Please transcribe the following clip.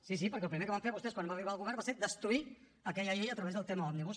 sí sí perquè el primer que van fer vostès quan va arribar al govern va ser destruir aquella llei a través del tema òmnibus